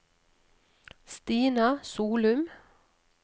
Stina Solum